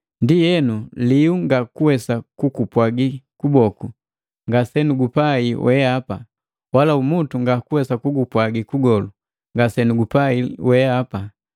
Ndienu liu ngakuwesa kukupwaji kuboku, “Ngasenugupai weapa,” Wala umutu ngakuwesa kugapwaji magolu, “Ngasenugupai weapa.”